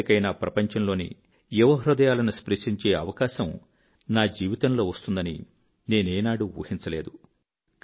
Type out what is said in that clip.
ఎప్పటికైనా ప్రపంచంలోని యువ హృదయాలను స్పృశించే అవకాశం నా జీవితంలో వస్తుందని నేనేనాడూ ఊహించలేదు